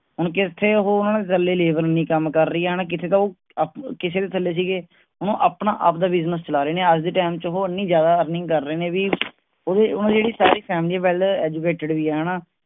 ਹੁਣ ਕਿਥੇ ਉਹ ਕਿਥੇ ਤਾਂ ਕੱਲੇ ਥੱਲੇ labor ਨੀ ਕੰਮ ਕਰ ਰਹੀ ਹੈ. ਕਿਥੇ ਉਹ ਕਿਸਿਦੇ ਥੱਲੇ ਸੀਗੇ। ਹੁਣ ਉਹ ਆਪਣਾ ਆਪ ਦਾ business ਚਲਾ ਰਹੇ ਨੇ. ਅੱਜ ਦੇ ਟਾਈਮ ਚ ਉਹ ਇੰਨੀ ਜਾਂਦਾ earning ਕਰ ਰਹੇ ਨੇ ਵੀ ਉਹਦੀ ਉਹਨਾਂ ਦੀ ਜਿਹੜੀ ਸਾਰੀ family well educated ਵੀ ਹੈ ਹਣਾ